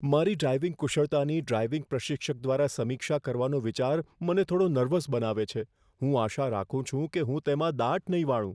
મારી ડ્રાઇવિંગ કુશળતાની ડ્રાઇવિંગ પ્રશિક્ષક દ્વારા સમીક્ષા કરવાનો વિચાર મને થોડો નર્વસ બનાવે છે. હું આશા રાખું છું કે હું તેમાં દાટ નહીં વાળું.